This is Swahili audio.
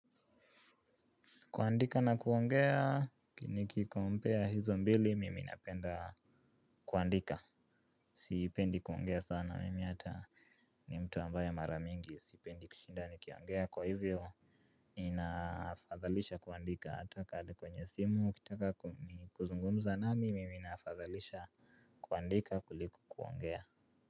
Kuandika na kuongea, niki compare hizo mbili, mimi napenda kuandika. Sipendi kuongea sana, mimi hata ni mtu ambaye mara mingi, sipendi kushinda ni kiongea. Kwa hivyo, inafadhalisha kuandika, hata kama ni kwenye simu, ukitaka kuzungumza nami, mimi nafadhalisha kuandika kuliku kuongea.